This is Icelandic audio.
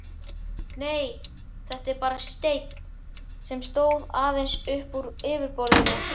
Nei, þetta var bara steinn, sem stóð aðeins uppúr yfirborðinu.